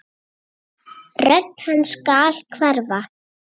Rödd hans skal hverfa.